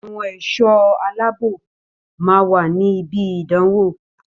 Àwọn ẹ̀sọ́ aláàbnò máa wà ní ibi ìdánwò.